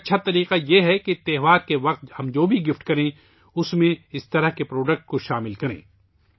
ایک اچھا طریقہ یہ ہے کہ ہم تہوار کے دوران ، جو بھی تحفہ دیتے ہیں ، اس میں اس قسم کی مصنوعات کو شامل کیا جائے